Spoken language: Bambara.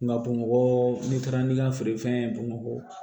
N ka bamakɔ n'i taara n'i ka feerefɛn ye bamakɔ